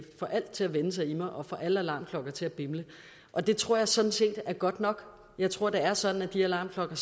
får alt til at vende sig i mig og får alle alarmklokker til at bimle og det tror jeg sådan set er godt nok jeg tror det er sådan at de alarmklokker